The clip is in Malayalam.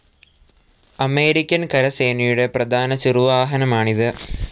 അമേരിക്കൻ കരസേനയുടെ പ്രധാന ചെറുവാഹനമാണിത്.